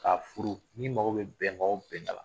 K'a furu n'i mago bɛ bɛnkan o bɛnkan na